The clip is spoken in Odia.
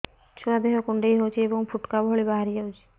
ଛୁଆ ଦେହ କୁଣ୍ଡେଇ ହଉଛି ଏବଂ ଫୁଟୁକା ଭଳି ବାହାରିଯାଉଛି